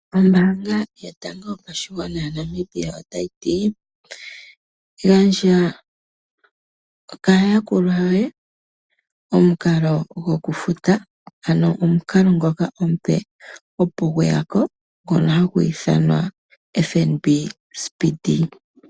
Ombaanga yotango yopashigwana ya Namibia otayi ti. Gandja kaa yakulwa yoye omukalo goku futa. Ano omukalo ngoka omupe opo gweyako ngono hagu ithanwa FNB speedee.